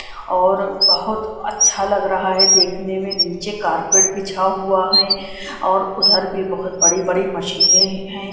और बहुत अच्छा लग रहा है देखने में नीचे कारपेट बिछा हुआ है और उधर भी बहुत बड़ी-बड़ी मशीनें हैं ।